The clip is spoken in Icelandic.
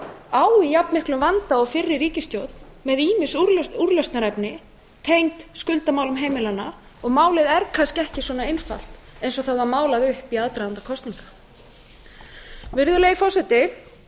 á í jafn miklum vanda og fyrri ríkisstjórn með ýmis úrlausnarefni tengd skuldamálum heimilanna og málið er kannski ekki svona einfalt eins og það var málað upp í aðdraganda kosninga virðulegi forseti